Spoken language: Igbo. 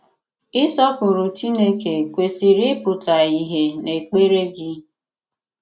Ị̀sọpụrụ̀ Chineke kwesị̀rì ị̀pụ̀tà ìhè n’èkpèrè gị.